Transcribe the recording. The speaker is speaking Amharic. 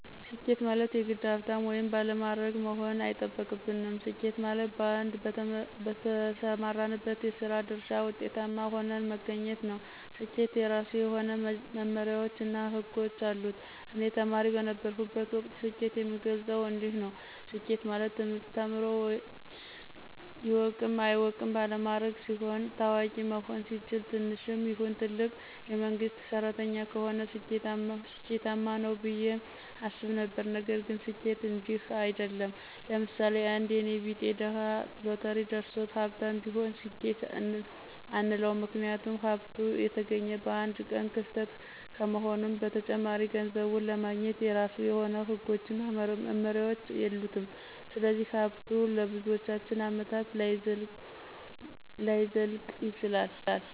ስኬት ማለት የግድ ሀብታም ወይም ባለማዕረግ መሆን አይጠበቅብንም። ስኬት ማለት በአንድ በተሰማራንበት የስራ ድርሻ ውጤታማ ሁነን መገኘት ነው። ስኬት የራሱ የሆነ መመመሪያዎች እና ህጎች አሉት። እኔ ተማሪ በነበረሁበት ወቅት ስኬትን የምገልፀው እንዲንዲህ ነው። ስኬት ማለት ትምህርት ተምሮ ይወቅም አይወቅም ባለማዕረግ ሲሆን፣ ታዋቂ መሆን ሲችል፣ ትንሽም ይሁን ትልቅ የመንግስት ሰራተኛ ከሆነ ስኬማነው ብየ አስብ ነበረ። ነገር ግን ስኬት እንዲህ አይድለም። ለምሳሌ፦ አንድ የኔ ቢጤ ድሀ ሎተሪ ደርሶት ሀብታም ቢሆን ስኬት አንለውም ምክንያቱም ሀብቱ የተገኘ በአንድ ቀን ክስተት ከመሆኑም በተጨማሪ ገንዘቡን ለማግኘት የራሱ የሆነ ህጎችና መመሪያዎች የሉትም ስለዚህ ሀብቱ ለብዙዎቻችን አመታት ላይዘልቅ ይችላል።